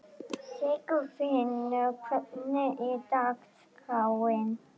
Sigfinnur, hvernig er dagskráin?